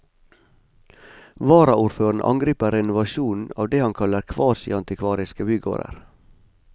Varaordføreren angriper renovasjonen av det han kaller kvasiantikvariske bygårder.